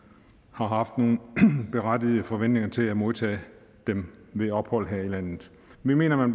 har haft nogle berettigede forventninger til at modtage dem ved ophold her i landet vi mener man